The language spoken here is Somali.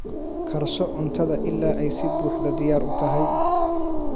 Karso cuntada ilaa ay si buuxda diyaar u tahay.